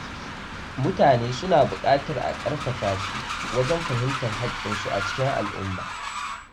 Mutane su na buƙatar a ƙarfafa su wajen fahimtar haƙƙinsu a cikin al’umma.